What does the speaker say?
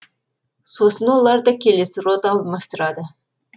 сосын оларды келесі рота алмастырады